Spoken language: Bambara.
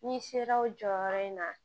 N'i sera o jɔyɔrɔ in na